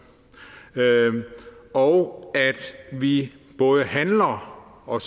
og at vi både handler og